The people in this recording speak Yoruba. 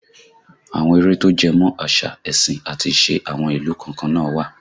Àwọn eré tó jẹmọ̀ àṣà, ẹ̀sìn àti ìṣe àwọn ìlú kọ̀ọ̀kan náà wà